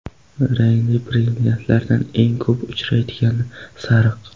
Rangli brilliantlardan eng ko‘p uchraydigani sariq.